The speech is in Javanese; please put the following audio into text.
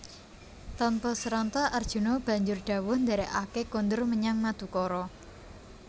Tanpa sranta Arjuna banjur dhawuh ndherekake kondur menyang Madukara